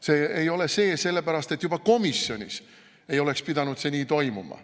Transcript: See ei ole see sellepärast, et juba komisjonis ei oleks pidanud see nii toimuma.